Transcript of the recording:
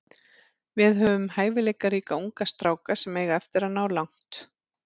Við höfum hæfileikaríka unga stráka sem eiga eftir að ná langt.